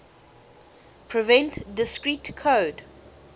prevent discrete code